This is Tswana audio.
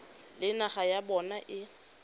le naga ya bona e